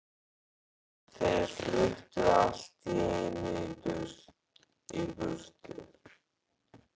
En þeir fluttu allt í einu í burtu.